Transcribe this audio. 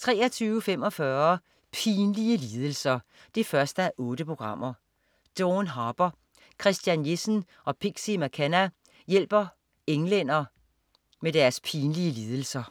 23.45 Pinlige lidelser 1:8. Dawn Harper, Christian Jessen og Pixie McKenna hjælper englænder med deres pinlige lidelser